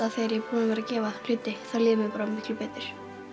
vera að gefa hluti þá líður mér bara miklu betur